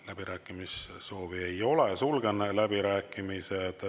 Läbirääkimissoovi ei ole, sulgen läbirääkimised.